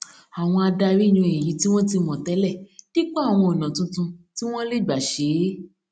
àwọn adarí yan èyí tí wọn ti mọ tẹlẹ dípò àwọn ọnà tuntun tí wọn lè gbà ṣe é